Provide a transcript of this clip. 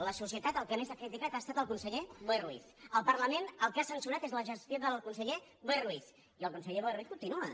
la societat el que més ha criticat ha estat el conseller boi ruiz el parlament el que ha censurat és la gestió del conseller boi ruiz i el conseller boi ruiz continua